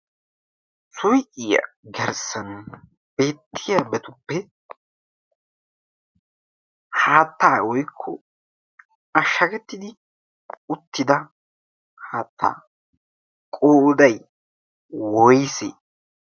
Suyqiya garssan beettiyaabatuppe haattaa woykko ashshagettidi uttida haattaa qoday woyse?